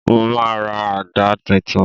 Mo máa ra àdá titun